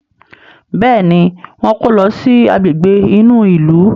Béèni wón kò ló sì Àgbègbè inú ilu.